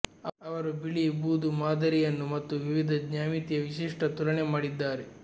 ಅವರು ಬಿಳಿ ಬೂದು ಮಾದರಿಯನ್ನು ಮತ್ತು ವಿವಿಧ ಜ್ಯಾಮಿತಿಯ ವಿಶಿಷ್ಟ ತುಲನೆ ಮಾಡಿದ್ದಾರೆ